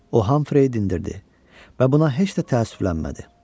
O Hamfreyi dindirdi və buna heç də təəssüflənmədi.